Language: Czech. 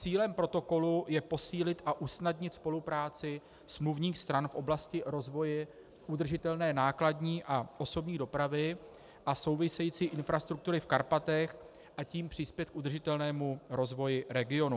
Cílem protokolu je posílit a usnadnit spolupráci smluvních stran v oblasti rozvoje udržitelné nákladní a osobní dopravy a související infrastruktury v Karpatech, a tím přispět k udržitelnému rozvoji regionu.